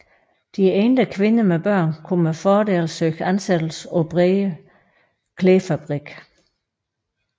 De enlige kvinder med børn kunne med fordel søge ansættelse på Brede klædefabrik